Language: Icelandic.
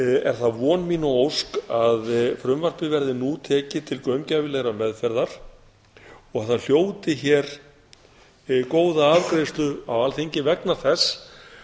er það von mín og ósk að frumvarpið verði nú tekið til gaumgæfilegrar meðferðar og það hljóti hér góða afgreiðslu á alþingi vegna þess